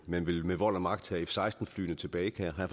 man vil med vold og magt have f seksten flyene tilbage har